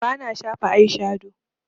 Bana shafa aishado